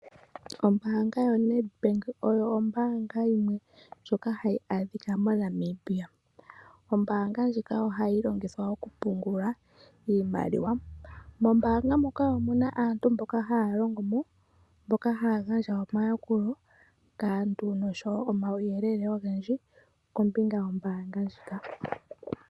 Ombaanga yoNedbank oyo ombaanga yimwe ndjoka hayi adhika moNamibia. Ombaanga ndjika ohayi longithwa okupungula iimaliwa. Mombaanga muka omu na aantu mboka haya longo mo, mboka haya gandja omayakulo kaantu nosho wo omauyelele ogendji kombinga yombaanga ndjika.